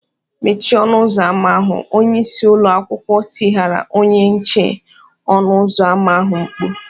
"Mechie ọnụ ụzọ ámá ahụ!” Onye isi ụlọ akwụkwọ tigara onye nche ọnụ ụzọ ámá ahụ mkpu